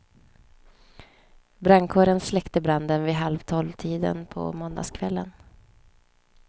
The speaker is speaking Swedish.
Brandkåren släckte branden vid halv tolvtiden på måndagskvällen.